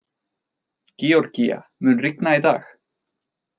Georgía, mun rigna í dag?